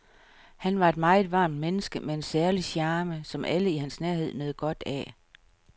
Han var et meget varmt menneske med en særlig charme, som alle i hans nærhed nød godt af.